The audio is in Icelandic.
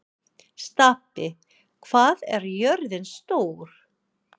Stapi, hvað er jörðin stór?